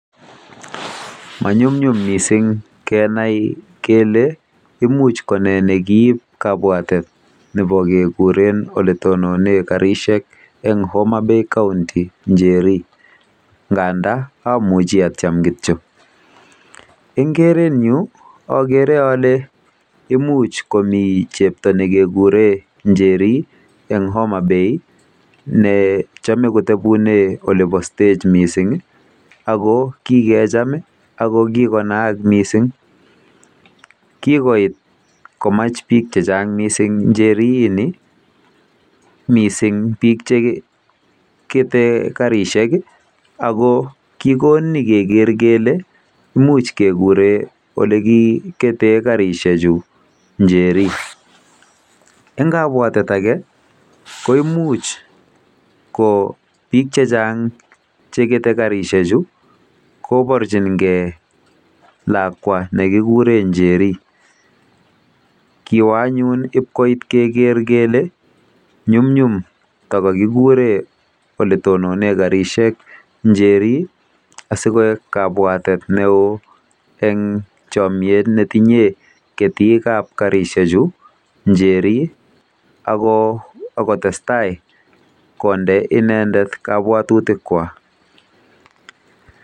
Manyumnyum mising kenai kele nee nekiib kabwatet nebo kekure ole tononen karishek eng Homabay county Njeri nganda amuchi atiem kityo. Eng keretnyu okere ole imuch komi chepto nekekure Njeri eng Homabay nechame kotubune olibo stage ako kikecham akokikonaak mising. Kikoit komach bik chechang Njeri mising ko chekete karishek ako kikon ni keker kele imuch kekure olikiketee karishek Njeri